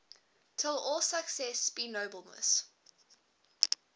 till all success be nobleness